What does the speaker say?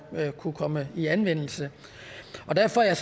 kunne komme i anvendelse og derfor er